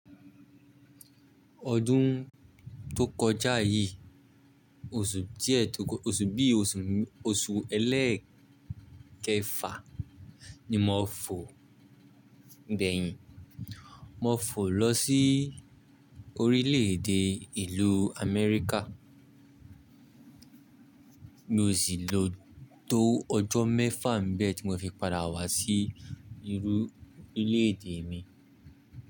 Ọdún tó kọjá yí, oṣù díẹ̀ tó kọ́, oṣù bí oṣù ẹlẹ́kẹfà ni mo fò gbẹ̀yìn. Mo fò lọ sí orílẹ̀-èdè ìlú Amẹ́ríkà. Mi ò sì lo tó ọjọ́ mẹ́fà n bẹ̀ tí mo fi padà wá sí ilú orílẹ̀-èdè mi.